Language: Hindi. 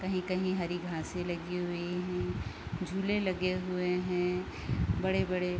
कही-कही हरी घासे लगी हुई हैं झूले लगे हुए हैं बड़े-बड़े।